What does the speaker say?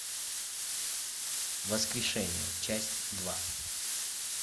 воскрешение часть два